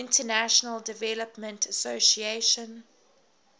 international development association